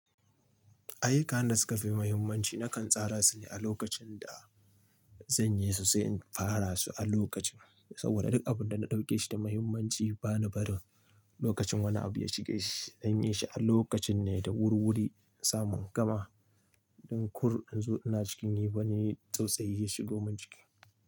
Ayyukan da suka fi muhimmanci nakan tsara su ne a lokacin da zanyi su sai in fara su a lokacin. Saboda duk abun da na ɗauke shi da muhimmanci bani barin lokacin wani abu ya shige shi. Zanyi shi a lokacin ne da wurwuri samun gama don kar in zo ina cikin yi wani tsautsayi ya shigo mun jiki.